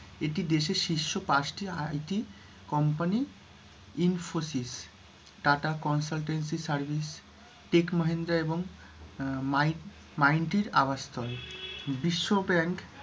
এটি দেশের শীর্ষ পাঁচটি IT company, Infosys, Tata consultancy service, tech Mahindra এবং মাই মাইনটির বিশ্ব ব্যাংক,